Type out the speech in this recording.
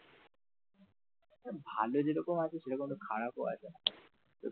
ভালোর যে রকম আছে সেরকম খারাপও আছে।